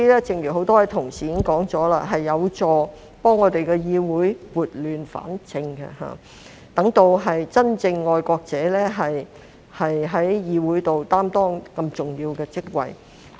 正如很多同事提及，這樣有助議會撥亂反正，讓真正的愛國者在議會內擔當重要的職位。